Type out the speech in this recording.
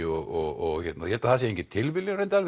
og ég held að það sé engin tilviljun reyndar